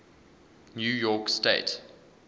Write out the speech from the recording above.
new york state